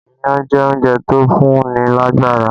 Iyán jẹ́ oúnjẹ tó ń fún ní lágbára